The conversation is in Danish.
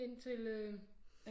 Ind til øh